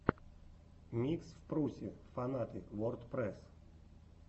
микс впрусе фанаты вордпрэсс